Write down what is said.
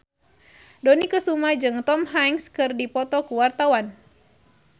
Dony Kesuma jeung Tom Hanks keur dipoto ku wartawan